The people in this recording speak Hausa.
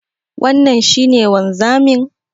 Wannan shi ne wanzamin?